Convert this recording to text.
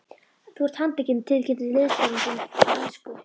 Þú ert handtekinn tilkynnti liðsforinginn á ensku.